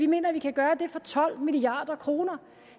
mener at vi kan gøre det for tolv milliard kroner